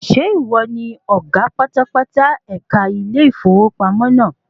Ṣé ìwọ ni ọ̀gá pátápátá ẹ̀ka ilé ìfowópamọ́ naa?